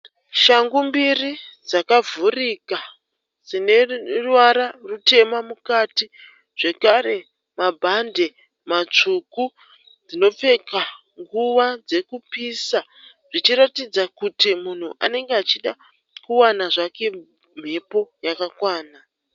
Shangu mbiri dzakavhurika dzineruvara rutema mukati zvekare mabhande matsvuku. Dzinopfekwa nguva dzekupisa zvichiratidza kuti munhu anenge achida kuwana zvake mhepo yakakwana.